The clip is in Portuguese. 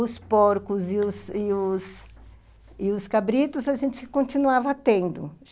Os porcos e os e os e os cabritos a gente continuava tendo.